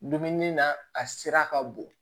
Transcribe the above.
Dumuni na a sera ka bon